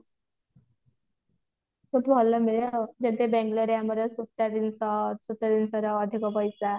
ସେଠି ଯେମତି ବେଙ୍ଗେଲୋର ରେ ଆମର ସୂତା ଜିନିଷ ଅଛି ସୂତା ଜିନିଷର ଅଧିକ ପଇସା